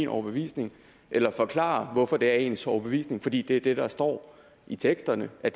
overbevisning eller forklarer hvorfor det er ens overbevisning nemlig fordi det er det der står i teksterne at